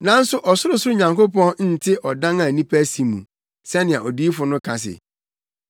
“Nanso ɔsorosoro Nyankopɔn nte ɔdan a nnipa asi mu, sɛnea odiyifo no ka se,